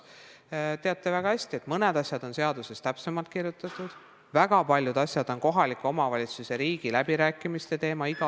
Te teate väga hästi, et mõned asjad on seaduses täpsemalt lahti kirjutatud, kuid väga paljud asjad on igal aastal kohalike omavalitsuste ja riigi läbirääkimiste teema.